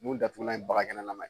Mun datugulama ye bagakɛnɛlama ye